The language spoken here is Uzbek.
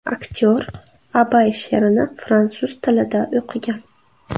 Aktyor Abay she’rini fransuz tilida o‘qigan.